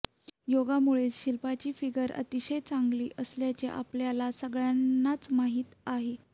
योगामुळेच शिल्पाची फिगर अतिशय चांगली असल्याचे आपल्या सगळ्यांनाच माहीत आहे